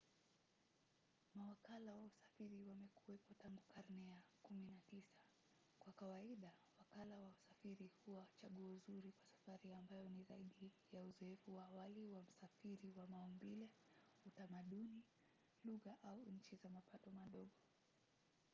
mawakala wa usafiri wamekuwapo tangu karne ya 19. kwa kawaida wakala wa usafiri huwa chaguo zuri kwa safari ambayo ni zaidi ya uzoefu wa awali wa msafiri wa maumbile utamaduni lugha au nchi za mapato madogo